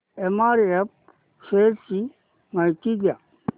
MRF shares ची माहिती द्या